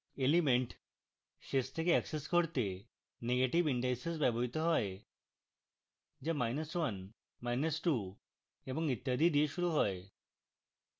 elements শেষ থেকে access করতে negative indices ব্যবহৃত হয় যা12 এবং ইত্যাদি থেকে শুরু হয়